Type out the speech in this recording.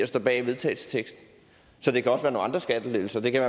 står bag vedtagelsesteksten så det kan også andre skattelettelser det kan